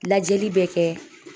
Lajɛli bɛ kɛ